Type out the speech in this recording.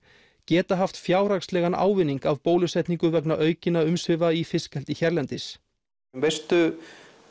geta haft fjárhagslegan ávinning af bólusetningu vegna aukinna umsvifa í fiskeldi hérlendis veistu